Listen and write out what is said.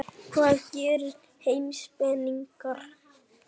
Hvað gera heimspekingar?